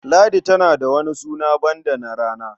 Ladi tana da wani suna banda na rana.